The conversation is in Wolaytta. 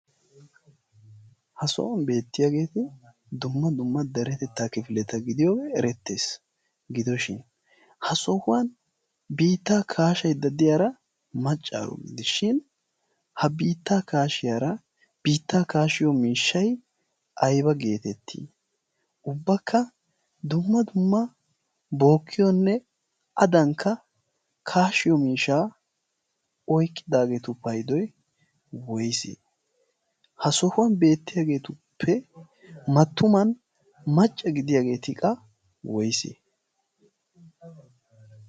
ha sohuwan beettiyaageeti dumma dumma daretettaa kifileta gidiyoo erettees. gidoshin ha sohuwan biittaa kaashay daddiyaara maccaaro gidishin ha biittaa kaashiyaara biittaa kaashiyo miishshay ayba geetettii ubbakka dumma dumma bookkiyoonne adankka kaashiyo miishaa oyqqidaageetu paydoy woysee? ha sohuwan beettiyaageetuppe mattuman macca gidiyaageeti aybee?